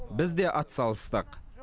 біз де атсалыстық